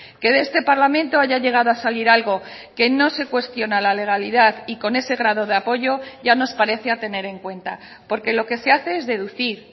que de este parlamento haya llegado a salir algo que no se cuestiona la legalidad y con ese grado de apoyo ya nos parece a tener en cuenta porque lo que se hace es deducir